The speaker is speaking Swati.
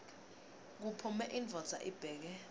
kuphume indvodza ibheke